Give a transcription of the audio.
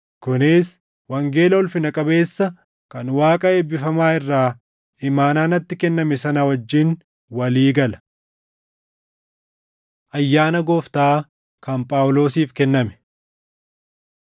kunis wangeela ulfina qabeessa kan Waaqa eebbifamaa irraa imaanaa natti kenname sana wajjin walii gala. Ayyaana Gooftaa Kan Phaawulosiif kenname